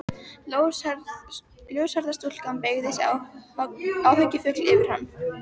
Ljóshærða stúlkan beygði sig áhyggjufull yfir hann.